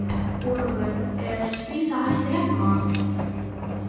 Ólafur er slysahætta hérna?